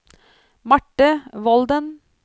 Marte Volden